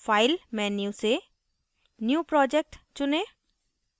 file menu से new project चुनें